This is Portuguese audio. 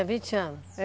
Tinha vinte anos?